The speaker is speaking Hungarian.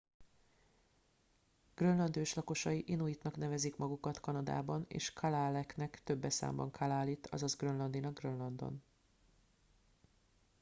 grönland őslakosai inuitnak nevezik magukat kanadában és kalaalleq-nak többes számban kalaallit azaz grönlandinak grönlandon